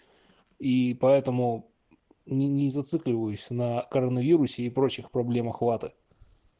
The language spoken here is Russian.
и поэтому не не зацикливаюсь на коронавирусе и прочих проблем охвата